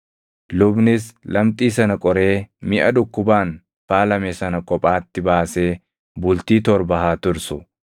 Lubnis lamxii sana qoree miʼa dhukkubaan faalame sana kophaatti baasee bultii torba haa tursu.